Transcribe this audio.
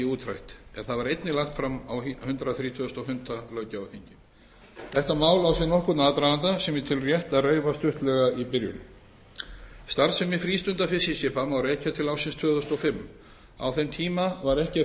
útrætt en það var einnig lagt fram á hundrað þrítugasta og fimmta löggjafarþingi þetta mál á sér nokkurn aðdraganda sem ég tel rétt að reifa stuttlega í byrjun starfsemi frístundafiskiskipa má rekja til ársins tvö þúsund og fimm á þeim tíma var ekki að